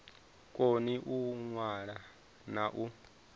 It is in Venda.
koni u ṅwala na u